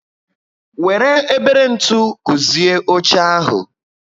Wéré ebere ntụ guzie óche ahu